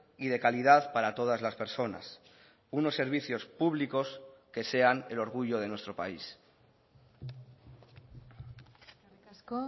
y de calidad para todas las personas unos servicios públicos que sean el orgullo de nuestro país eskerrik asko